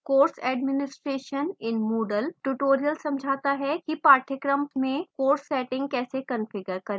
course administration in moodle tutorial समझाता है किपाठ्यक्रम course में course settings कैसे कंफिगर करें